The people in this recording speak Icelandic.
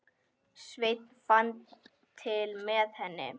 Sveinn fann til með henni.